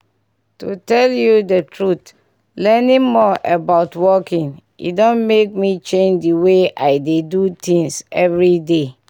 to tell you the truth learning more about walking e don make me change the way i dey do things everyday.